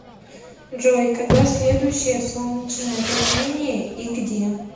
джой когда следующее солнечное затмение и где